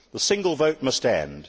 The single vote must end.